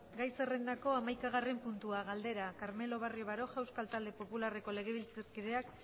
gai zerrendako hamaikagarren puntua galdera carmelo barrio baroja euskal talde popularreko legebiltzarkideak